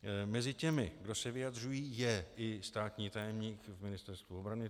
Mezi těmi, kdo se vyjadřují, je i státní tajemník v Ministerstvu obrany.